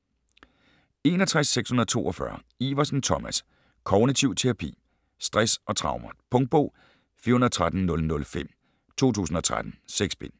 61.642 Iversen, Thomas: Kognitiv terapi Stress og traumer. Punktbog 413005 2013. 6 bind.